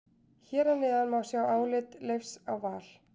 Hér að neðan má sjá álit Leifs á Val.